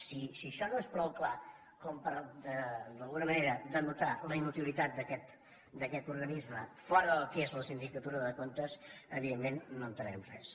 home si això no és prou clar per d’alguna manera denotar la inutilitat d’aquest organisme fora del que és la sindicatura de comptes evidentment no entenem res